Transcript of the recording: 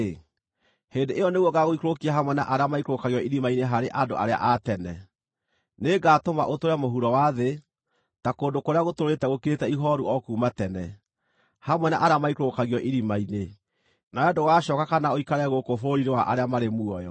hĩndĩ ĩyo nĩguo ngaagũikũrũkia hamwe na arĩa maikũrũkagio irima-inĩ harĩ andũ arĩa a tene. Nĩngatũma ũtũũre mũhuro wa thĩ, ta kũndũ kũrĩa gũtũũrĩte gũkirĩte ihooru o kuuma tene, hamwe na arĩa maikũrũkagio irima-inĩ, nawe ndũgacooka kana ũikare gũkũ bũrũri-inĩ wa arĩa marĩ muoyo.